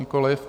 Nikoliv.